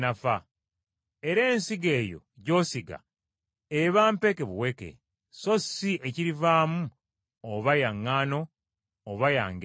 Era ensigo eyo gy’osiga eba mpeke buweke; so si ekirivaamu oba ya ŋŋaano, oba ya ngeri ndala.